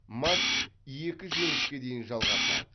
матч екі жеңіске дейін жалғасады